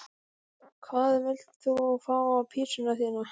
Hvað vilt þú fá á pizzuna þína?